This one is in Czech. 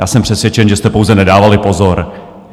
Já jsem přesvědčen, že jste pouze nedávali pozor.